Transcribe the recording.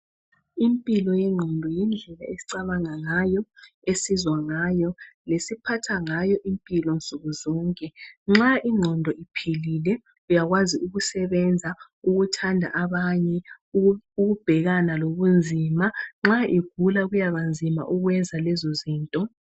Impilo yengqondo yindlela esicabanga ngayo, esizwa ngayo, lesiphatha ngayo impilo nsuku zonke nxa ingqondo iphilile uyakwazi ukusebenza, ukuthanda abanye ukubhekana lobunzima nxa igula kuyaba nzima ukwenza lezizinto.